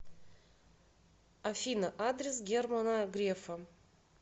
афина адрес германа грефа